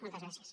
moltes gràcies